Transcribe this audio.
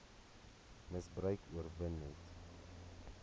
misbruik oorwin net